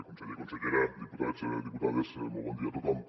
conseller consellera diputats diputades molt bon dia a tothom